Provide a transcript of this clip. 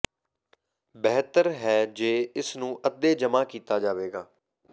ਬਿਹਤਰ ਹੈ ਜੇ ਇਸ ਨੂੰ ਅੱਧੇ ਜਮਾ ਕੀਤਾ ਜਾਵੇਗਾ